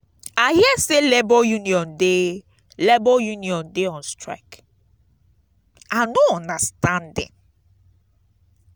i hear say labour unión dey labour unión dey on strike. i no understand dem.